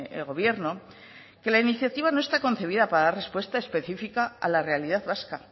el gobierno que la iniciativa no está concebida para dar respuesta específica a la realidad vasca